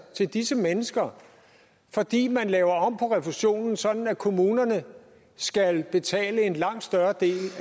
til disse mennesker fordi man laver om på refusionen sådan at kommunerne skal betale en langt større del